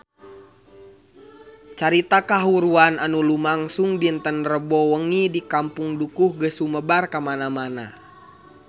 Carita kahuruan anu lumangsung dinten Rebo wengi di Kampung Dukuh geus sumebar kamana-mana